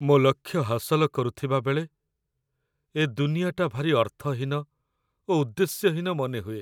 ମୋ ଲକ୍ଷ୍ୟ ହାସଲ କରୁଥିବାବେଳେ, ଏ ଦୁନିଆଟା ଭାରି ଅର୍ଥହୀନ ଓ ଉଦ୍ଦେଶ୍ୟହୀନ ମନେହୁଏ।